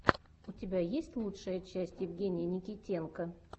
у тебя есть лучшая часть евгения никитенко